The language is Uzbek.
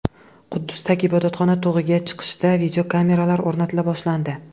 Quddusdagi Ibodatxona tog‘iga chiqishda videokameralar o‘rnatila boshlandi.